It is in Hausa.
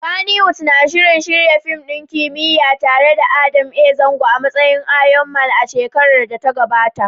Kannywood na shirin shirya fim ɗin kimiyya tare da Adam Zango a matsayin Iron Man a shekarar da ta gabata.